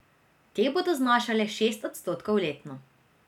Te bodo znašale šest odstotkov letno.